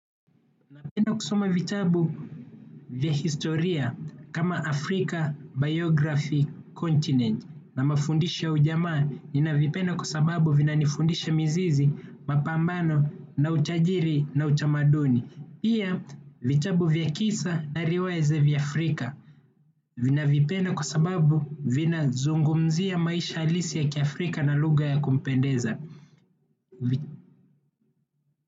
Napenda kusoma vitabu vya historia kama Africa Biography Continent na mafundisho ya ujamaa ninavipenda kwa sababu vinanifundisha mizizi mapambano na utajiri na utamaduni. Pia vitabu vya kisa na riwaya za Afrika vinavipenda kwa sababu vinazungumzia maisha halisi ya kiafrika na lugha ya kumpendeza.